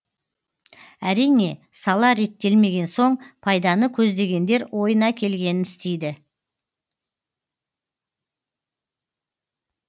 әрине сала реттелмеген соң пайданы көздегендер ойына келгенін істейді